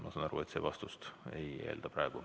Ma saan aru, et vastust see ei eelda.